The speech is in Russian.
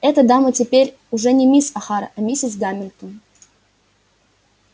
эта дама теперь уже не мисс охара а миссис гамильтон